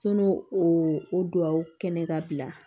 o o duwaw kɛlen ka bila